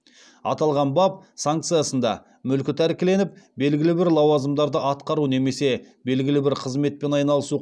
аталған бап санкциясында мүлкі тәркіленіп белгілі бір лауазымдарды атқару немесе белгілі бір қызметпен айналысу